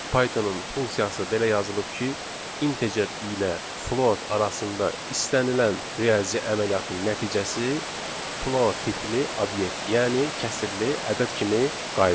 Pythonın funksiyası belə yazılıb ki, integer ilə float arasında istənilən riyazi əməliyyatın nəticəsi float tipli obyekt, yəni kəsrli ədəd kimi qayıdır.